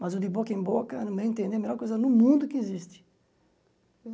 Mas o de boca em boca, no meu entender, é a melhor coisa no mundo que existe.